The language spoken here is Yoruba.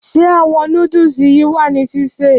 Ṣé àwọn noodles yìí wà ní sísè?